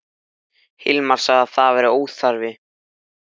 Svo hefur hann birt eftir sig margar smásögur í blaðinu.